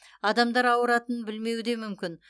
адамдар ауыратынын білмеуі де мүмкін